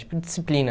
Tipo, disciplina.